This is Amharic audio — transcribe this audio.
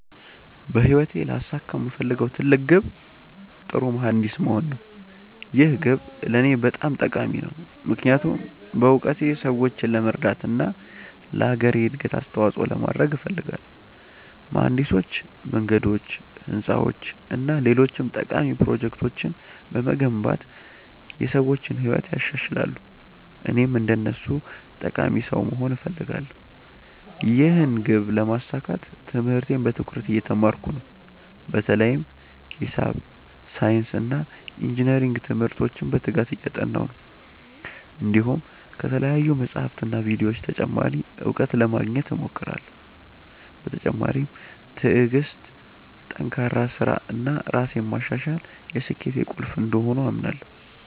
በህይወቴ ላሳካው የምፈልገው ትልቅ ግብ ጥሩ መሀንዲስ መሆን ነው። ይህ ግብ ለእኔ በጣም ጠቃሚ ነው፣ ምክንያቱም በእውቀቴ ሰዎችን ለመርዳት እና ለአገሬ እድገት አስተዋፅኦ ለማድረግ እፈልጋለሁ። መሀንዲሶች መንገዶች፣ ህንፃዎች እና ሌሎች ጠቃሚ ፕሮጀክቶችን በመገንባት የሰዎችን ህይወት ያሻሽላሉ፣ እኔም እንደነሱ ጠቃሚ ሰው መሆን እፈልጋለሁ። ይህን ግብ ለማሳካት ትምህርቴን በትኩረት እየተማርኩ ነው፣ በተለይም ሂሳብ፣ ሳይንስ እና ኢንጅነሪንግ ትምህርቶችን በትጋት እያጠናሁ ነው። እንዲሁም ከተለያዩ መጻሕፍትና ቪዲዮዎች ተጨማሪ እውቀት ለማግኘት እሞክራለሁ። በተጨማሪም ትዕግሥት፣ ጠንካራ ሥራ እና ራሴን ማሻሻል የስኬቴ ቁልፍ እንደሆኑ አምናለሁ።